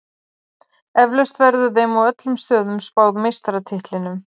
Eflaust verður þeim á öllum stöðum spáð meistaratitlinum.